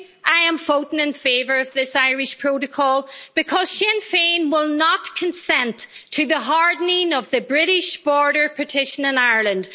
I am voting in favour of this Irish protocol because Sinn Féin will not consent to the hardening of the British border partition in Ireland.